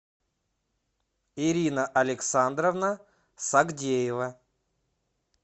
ирина александровна сагдеева